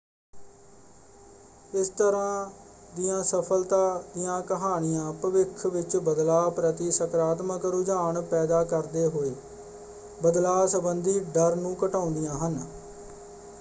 ਇਸ ਤਰ੍ਹਾਂ ਦੀਆਂ ਸਫਲਤਾ ਦੀਆਂ ਕਹਾਣੀਆਂ ਭਵਿੱਖ ਵਿੱਚ ਬਦਲਾਅ ਪ੍ਰਤੀ ਸਕਾਰਾਤਮਕ ਰੁਝਾਨ ਪੈਦਾ ਕਰਦੇ ਹੋਏ ਬਦਲਾਅ ਸੰਬੰਦੀ ਡਰ ਨੂੰ ਘਟਾਉਂਦੀਆਂ ਹਨ।